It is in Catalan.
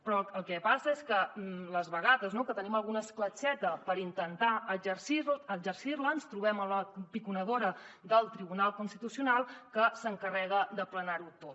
però el que passa és que les vegades no que tenim alguna escletxeta per intentar exercir la ens trobem la piconadora del tribunal constitucional que s’encarrega d’aplanar ho tot